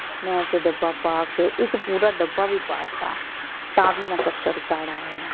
ਮੈਂ ਤੇ ਡੱਬਾ ਪਾ ਕੇ ਇਕ ਪੂਰਾ ਡੱਬਾ ਵੀ ਪਾ ਤਾ। ਤਾਂ ਵੀ ਨਾ custard ਗਾੜ੍ਹਾ ਹੋਇਆ।